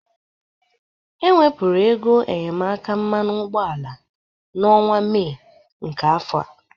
E wepụrụ ego enyemaka mmanụ ụgbọala n'ọnwa Mee nke afọ a.